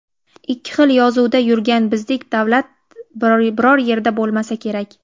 Ikki xil yozuvda yurgan bizdek davlat biror yerda bo‘lmasa kerak.